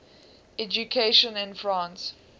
education in france